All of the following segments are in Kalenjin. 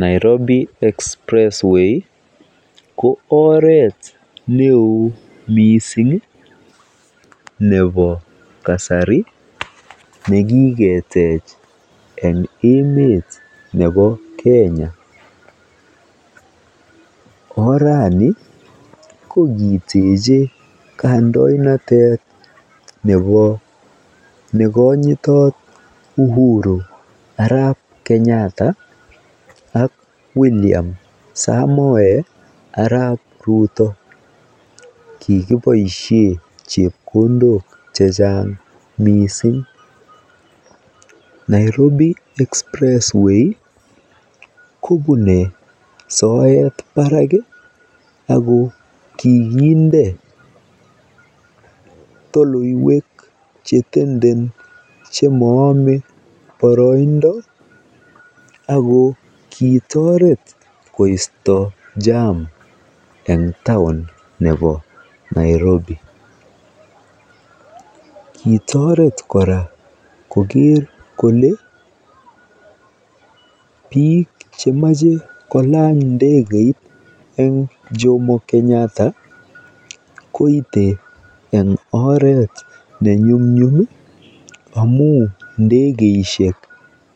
Nairobi Expressway ko oret neo mising nebo kasari nekiketech eng emetab Kenya. Orani ko kiteche kandoinateb nekonyitot Uhuru arap Kenyata ak William Samoei arap Ruto. Kikiboisie chepkondok chechang mising. Nairobi Expressway kobune soet barak ako kikinde toloywek chetenden chemoome boroindo ako kitooret koisto jam eng town nebo Nairobi. Kitoret kora koker kole biik chemache kolany ndekeit eng Jomo Kenyatta koite eng oret ne nyumnyum amuu ndekeisiek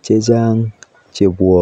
chechang chebwone